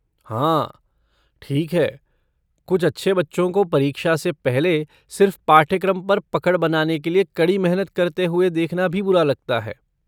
हाँ, ठीक है, कुछ अच्छे बच्चों को परीक्षा से पहले सिर्फ़ पाठ्यक्रम पर पकड़ बनाने के लिए कड़ी मेहनत करते हुए देखना भी बुरा लगता है।